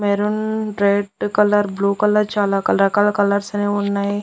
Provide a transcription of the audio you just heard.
Maroon red colour blue colour చాలా రకరకాల colours అనేవి ఉన్నాయి.